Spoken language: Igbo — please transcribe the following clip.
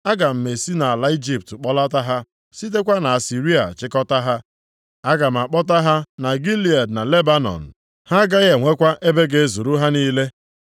Aga m esi nʼala Ijipt kpọlata ha, sitekwa nʼAsịrịa chịkọtaa ha. Aga m akpọta ha na Gilead na Lebanọn. Ha agaghị enwekwa ebe ga-ezuru ha niile.